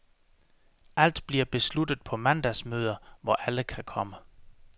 Alt bliver besluttet på mandagsmøder, hvor alle kan komme.